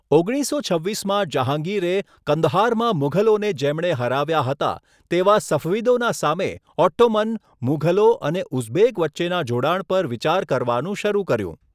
ઓગણીસસો છવ્વીસમાં જહાંગીરે, કંદહારમાં મુઘલોને જેમણે હરાવ્યા હતા, તેવા સફવિદોના સામે ઓટ્ટોમન, મુઘલો અને ઉઝબેક વચ્ચેના જોડાણ પર વિચાર કરવાનું શરૂ કર્યું.